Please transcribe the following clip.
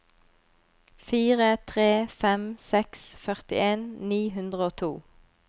fire tre fem seks førtien ni hundre og to